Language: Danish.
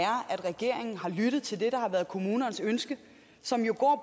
regeringen har lyttet til det der har været kommunernes ønske